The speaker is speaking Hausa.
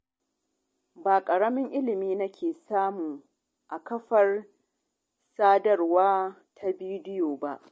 Ba ƙaramin ilimi nake samu a kafar sadarwa ta bidiyo ba.